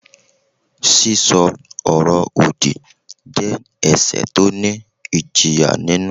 Sísọ ọ̀rọ̀-òdì jẹ́ ẹ̀ṣẹ̀ tó ní ìjìyà nínú.